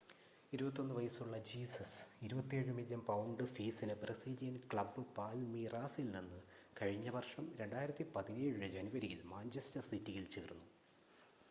21 വയസ്സുള്ള Jesus 27 million pound ഫീസിന് Brazilian club പാൽമീറാസിൽ നിന്ന് കഴിഞ്ഞ വർഷം 2017 ജനുവരിയിൽ മാഞ്ചസ്റ്റർ സിറ്റിയിൽ ചേർന്നു